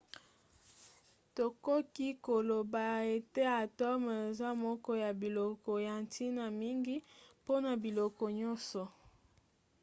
tokoki koloba ete atome eza moko ya biloko ya ntina mingi mpona biloko nyonso